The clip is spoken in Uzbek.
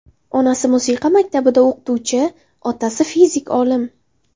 Onasi musiqa maktabida o‘qituvchi, otasi fizik olim.